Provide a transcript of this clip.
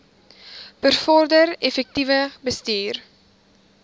bevorder effektiewe bestuur